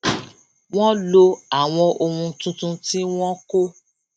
wón lo àwọn ohun tuntun tí wón kó